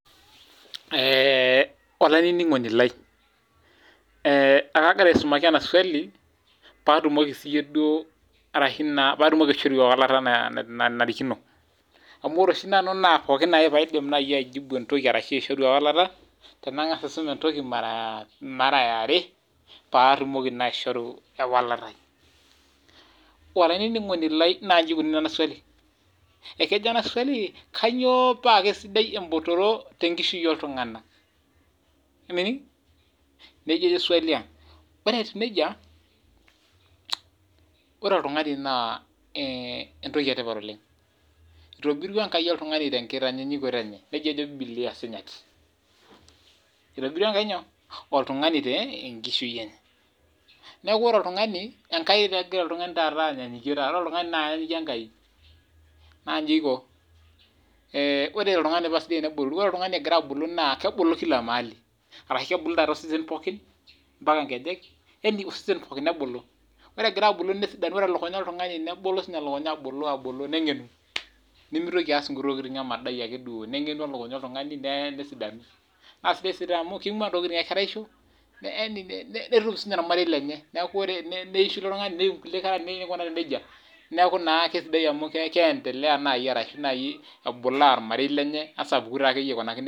Olaininingoni lai e kaagira aisumaki ena swali peyie atumoki siiyie duo aishoru ewalata enanarikino. Amuu ore oshi nanu naa pooki ake aishoru ewalata naa tenangas aisum entoki mara ya are paatumoki naa aishoru ewalata. Olaininingoni lai naanji ejo ena swali kainyoo paa sidai embotoro tenkishui oltunganak? Nejia ejo swali ang. Emining? Ore etiu nejia ore oltungani naa entoki e tipat oleng etobirua Enkai oltungani te nkitanyaanyukoto enye nejia ejo Bibilia Sinyati. Etobirua Enkai oltungani tenkishui enye. Niaku ore oltungani enkai taa egira taata oltungani anyaanyukie. Enyaanyikie oltungani enkai. Naa nji eiko, ore oltungani paa sidai tene botoru, naa kebulu osesen pooki mpaka nkejek. yaani kebulu pooki wueji. Ore egira abulu nebulu siinye elukunya oltungani abolo nengenu nemeitoli aas nkuti tokitin emodai ake duo. Nebulu elukunya oltungani nesidanu. Naa sidai taa amuu kenguaa intokitin ekeraisho netum siininye ormarei lenye. Neisho ilo tungani Netum inkera niaku naa keisidai naa amu keendelea naaji nebulaa ormarei lenye nesapuku taa akeyie akunaki nejia.